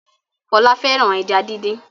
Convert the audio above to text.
Fola fẹràn ejá dín dín.